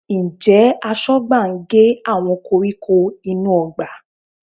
Ǹjẹ́ Aṣọ́gbà ń gé àwọn koríko inú ọgbà?